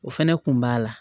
O fɛnɛ kun b'a la